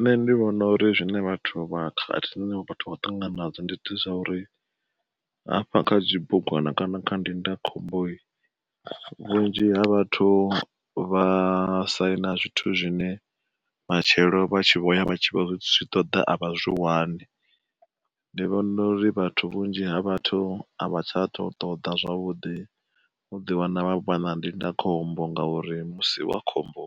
Nṋe ndi vhona uri zwine vhathu vha khakhathi dzine vhathu vha khou ṱangana nadzo ndi zwa uri, hafha kha zwibugwana kana kha ndindakhombo, vhunzhi ha vhathu vha saina zwithu zwine matshelo vha tshi vhoya vha tshi vho zwi ṱoḓa a vha zwi wani. Ndi vhona uri vhathu vhunzhi ha vhathu a vha tsha tou ṱoḓa zwavhuḓi u ḓiwana vha vha na ndindakhombo, ngauri musi wa khombo